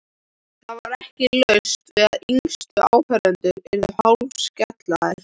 Það var ekki laust við að yngstu áhorfendurnir yrðu hálfskelkaðir.